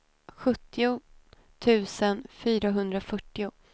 sjuttio tusen fyrahundrafyrtio